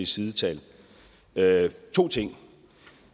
sidetal to ting